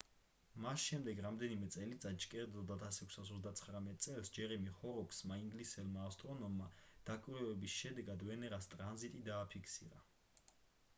მას შემდეგ რამდენიმე წელიწადში კერძოდ 1639 წელს ჯერემი ჰოროკსმა ინგლისელმა ასტრონომმა დაკვირვების შედეგად ვენერას ტრანზიტი დააფიქსირა